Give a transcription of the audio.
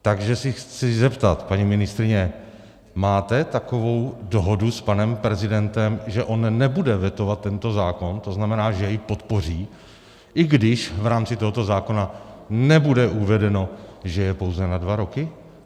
Takže se chci zeptat, paní ministryně, máte takovou dohodu s panem prezidentem, že on nebude vetovat tento zákon, to znamená, že jej podpoří, i když v rámci tohoto zákona nebude uvedeno, že je pouze na dva roky?